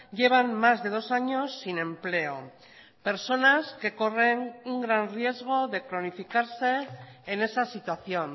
llevan más de dos años sin empleo personas que corren un gran riesgo de cronificarse en esa situación